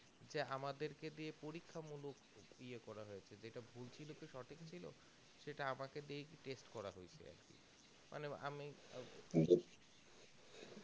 যে আমাদের কে দিয়ে পরীক্ষা মূলক হয়ে করা হয়েছে যেটা ভুল ছিল কি সঠিক ছিল সেটা আমাকে দিয়েই test করা হয়েছে মানে আমি